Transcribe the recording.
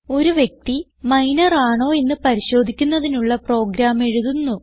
ഒരു വ്യക്തി മൈനർ ആണോയെന്ന് പരിശോധിക്കുന്നതിനുള്ള പ്രോഗ്രാം എഴുതുന്നു